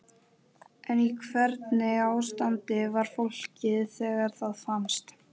En í hvernig ástandi var fólkið þegar það fannst?